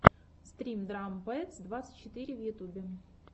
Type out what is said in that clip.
стрим драм пэдс двадцать четыре в ютюбе